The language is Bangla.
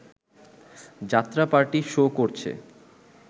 যাত্রাপার্টি শো করছে